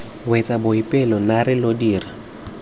wetse boipelo naare lo dira